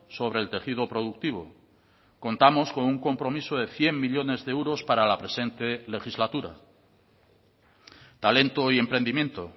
sobre el tejido productivo contamos con un compromiso de cien millónes de euros para la presente legislatura talento y emprendimiento